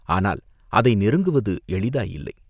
ஆனால் அதை நெருங்குவது எளிதாயில்லை.